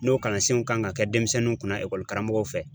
N'o kalansenw kan ka kɛ denmisɛnninw kunna karamɔgɔw fɛ